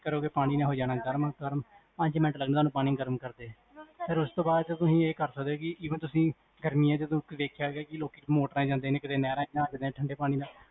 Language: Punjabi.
ਕਰੋਗੇ, ਪਾਣੀ ਨੇ ਹੋਜਾਨਾ ਗਰਮ, ਪੰਜ ਮਿੰਟ ਲਗਨੇ ਨੇ ਤੁਹਾਨੂੰ ਪਾਣੀ ਗਰਮ ਕਰਦੇ ਨੂੰ, ਫੇਰ ਓਸ ਤੋਂ ਬਾਦ ਜੇ ਤੁਸੀਂ ਇਹ ਕਰ ਸਕਦੇ ਹੋ ਕੀ even ਤੁਸੀਂ ਗਰਮੀ ਚ ਦੇਖਦੇ ਹੋ ਲੋਕ ਨਹਿਰ ਚ ਜਾਂਦੇ ਨੇ moter ਚ ਜਾਂਦੇ ਨੇ ਠੰਡੇ ਪਾਣੀ ਨਾਲ